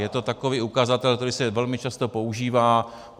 Je to takový ukazatel, který se velmi často používá.